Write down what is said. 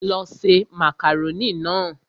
Lọ ṣe màkàrónì náà!